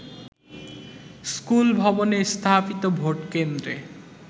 স্কুলভবনে স্থাপিত ভোটকেন্দ্রে